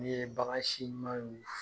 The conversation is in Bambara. N'i ye bagansi ɲumanɲ